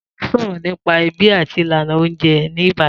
Ta ló sọ̀rọ̀ nípa ẹbí àti ìlànà oúnjẹ ní Ìbàdàn?